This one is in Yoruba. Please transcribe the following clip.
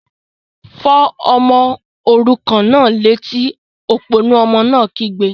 Fọ́ ọmọ òrukàn náà létí! Òpònú ọmọ náà kígbe